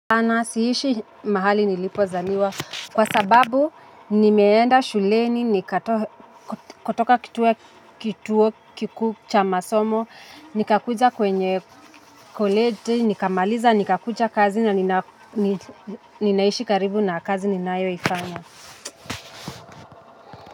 Hapana siishi mahali nilipozaliwa kwa sababu nimeenda shuleni kutoka kituo kikuu cha masomo, nikakuja kwenye koleji, nikamaliza, nikakuja kazi na ninaishi karibu na kazi ninayoifanya.